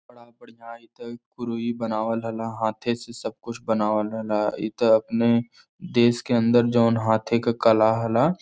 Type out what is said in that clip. बड़ा बढ़ियाँ इत कुरई बनावल हला हाथे से सब कुछ बनावल हला। इत अपने देश के अंदर जउन हाथे के कला हला।